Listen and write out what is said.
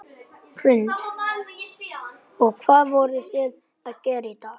Ekkert meiriháttar Hvað er þitt uppáhaldslið í enska boltanum?